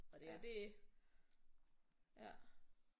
Og det er det